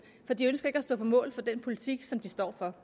for de ønsker ikke at stå på mål for den politik som de står for